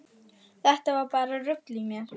Þetta var bara rugl í mér.